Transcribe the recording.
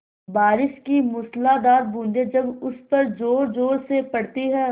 बारिश की मूसलाधार बूँदें जब उस पर ज़ोरज़ोर से पड़ती हैं